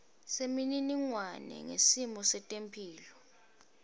semininingwane ngesimo setemphilo